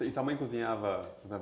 E sua mãe cozinhava?